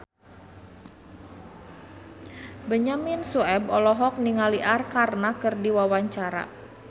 Benyamin Sueb olohok ningali Arkarna keur diwawancara